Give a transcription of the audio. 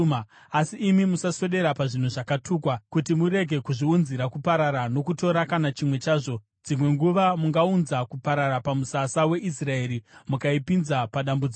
Asi imi musaswedera pazvinhu zvakatukwa, kuti murege kuzviunzira kuparara, nokutora kana chimwe chazvo. Dzimwe nguva mungaunza kuparara pamusasa weIsraeri mukaipinza padambudziko.